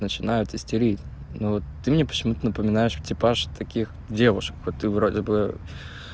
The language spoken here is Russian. начинают истерить но ты мне почему-то напоминаешь типаж таких девушек вот ты вроде бы